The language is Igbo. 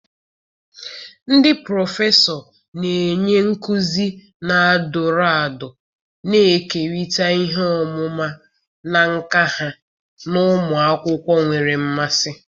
ndị prọfesọ na-enye nkuzi na-adọrọ adọrọ, na-ekerịta ihe ọmụma na nka ha na ụmụ akwụkwọ nwere mmasị.